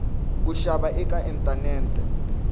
ku xava eka inthanethe